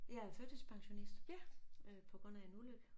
Jeg er førtidspensionist øh på grund af en ulykke